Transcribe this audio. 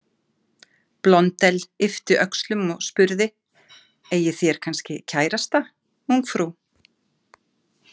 Blondelle yppti öxlum og spurði: „Eigið þér kannski kærasta, ungfrú“?